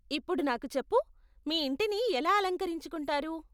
ఇప్పుడు నాకు చెప్పు, మీ ఇంటిని ఎలా అలకరించుకుంటారు?